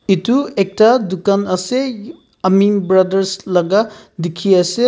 Etu ekta tugan ase aming brothers laka dekhe ase.